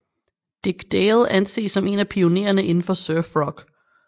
Dick Dale anses som en af pioneerne indenfor surf rock